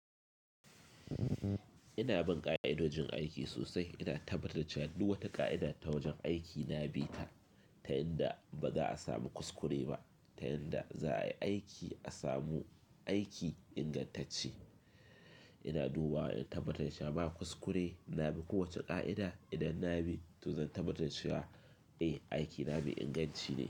Ina bin ƙa'ida wajen aiki sosai, ina tabbatar da cewa duk wata ƙa'ida ta wajen aiki na bi ta, ta yanda ba za a samu kuskure ba, ta yanda za a yi aiki a samu aiki ingantacce. Ina dubawa in tabbatar cewa ba kuskure na bi kowace ƙa'ida. Idan na bi to zan tabbatar cewa eh aiki na bi inganci ne.